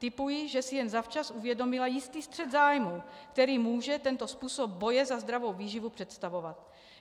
Tipuji, že si jen zavčas uvědomila jistý střet zájmů, který může tento způsob boje za zdravou výživu představovat.